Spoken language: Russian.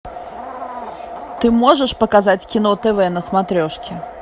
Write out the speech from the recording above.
ты можешь показать кино тв на смотрешке